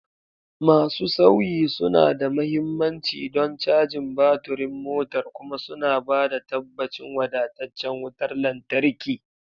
Masu-sauyi suna da mahimmanci don cajin baturin motar kuma suna ba da tabbacin wadataccen wutar lantarki.